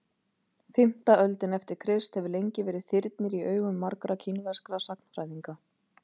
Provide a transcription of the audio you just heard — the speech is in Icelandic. fimmta öldin eftir krist hefur lengi verið þyrnir í augum margra kínverskra sagnfræðinga